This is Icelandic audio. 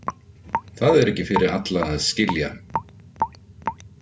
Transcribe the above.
Það er ekki fyrir alla að skilja